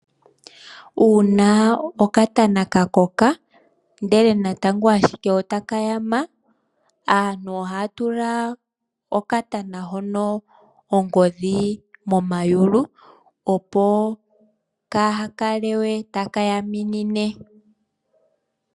Uuna okatàna ka koka ihe natango ota kayama, ohaka tulwa ongodhi momayulu, opo ka hakale taka yaminine.